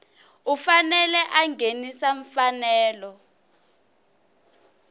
u fanele a nghenisa mfanelo